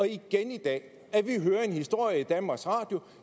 igen i dag at vi hører en historie i danmarks radio